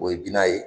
O ye bina ye